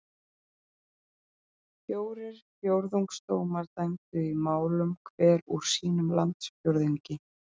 Fjórir fjórðungsdómar dæmdu í málum hver úr sínum landsfjórðungi.